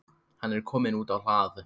Hann er kominn út á hlað.